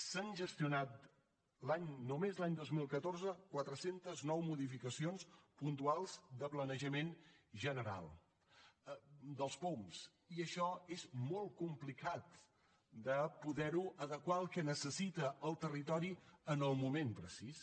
s’han gestionat només l’any dos mil catorze quatre cents i nou modificacions puntuals de planejament general dels poum i això és molt complicat de poderho adequar al que necessita el territori en el moment precís